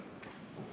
Aitäh!